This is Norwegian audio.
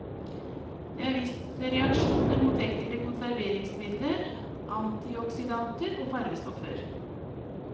Det er vist reaksjoner mot enkelte konserveringsmidler, antioksidanter og farvestoffer.